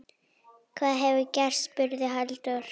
Hvað hefur gerst? spurði Halldór.